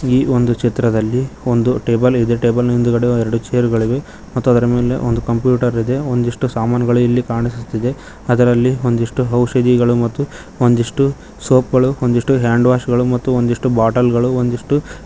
ಈ ಒಂದು ಚಿತ್ರದಲ್ಲಿ ಒಂದು ಟೇಬಲ್ ಇದೆ ಟೇಬಲ್ ನ ಹಿಂದುಗಡೆ ಎರಡು ಚೇರುಗಳಿವೆ ಮತ್ತು ಅದರ ಮೇಲೆ ಒಂದು ಕಂಪ್ಯೂಟರ್ ಇದೆ ಒಂದಿಷ್ಟು ಸಾಮಾನುಗಳು ಇಲ್ಲಿ ಕಾಣಿಸುತ್ತಿದೆ ಅದರಲ್ಲಿ ಒಂದಿಷ್ಟು ಔಷಧಿಗಳು ಮತ್ತು ಒಂದಿಷ್ಟು ಸೋಪ್ ಗಳು ಒಂದಿಷ್ಟು ಹ್ಯಾಂಡ್ ವಾಶ್ ಗಳು ಒಂದಿಷ್ಟು ಬಾಟಲ್ ಗಳು ಒಂದಿಷ್ಟು--